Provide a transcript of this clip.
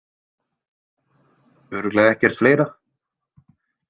Örugglega ekkert fleira?